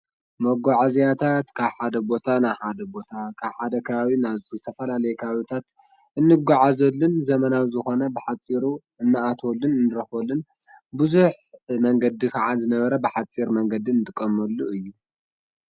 መጓዓዝያታት ካብ ሓደ ቦታ ናብ ሓደ ቦታ፣ ካብ ሓደ ከባቢ ናብ ዝተፈላለየ ከባቢታት እንጓዓዘሉን ዘመናዊ ዝኾነ ብሓፂሩ እንኣትወሉን ንረኽበሉን፣ ብዙሕ መንገዲ ከዓ ዝነበረ ብሓፂር መንገዲ ንጥቀመሉ እዩ።